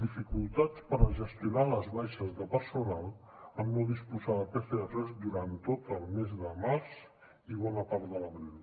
dificultats per gestionar les baixes de personal en no disposar de pcrs durant tot el mes de març i bona part de l’abril